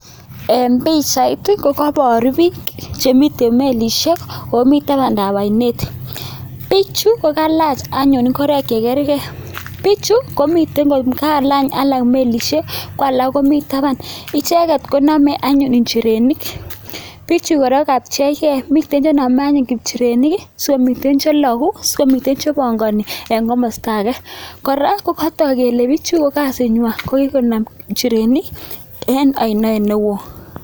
En pichait I,kobooru bik chemiten melisiek, ak mii tabaandab oinet. Bichu ko kalach anyun ngoroik che kergei, bichu komiten kokalany alaak melisiek, kwolak komi tabaan. Icheket konome injirenik. Bichu kora kokapcheigei, mitten chenome anyun injirenik sikomii cheloguu, sikomiten chebongoni en komosto age .Kora kokotok kele bichu ko kasinywan ko kinome njirenik, en oinet newoo.